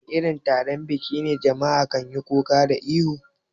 A wani irin taron biki ne jama'a kanyi kuka da ihu?